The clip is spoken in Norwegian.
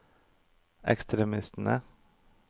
ekstremistene